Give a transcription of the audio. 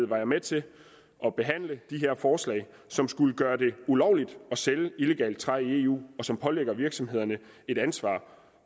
var jeg med til at behandle de her forslag som skulle gøre det ulovligt at sælge illegalt træ i eu og som pålægger virksomhederne et ansvar